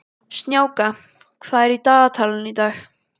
Snjáka, hvað er í dagatalinu í dag?